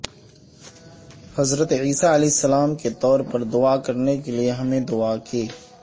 حضرت عیسی علیہ السلام کے طور پر دعا کرنے کے لئے ہمیں دعا کی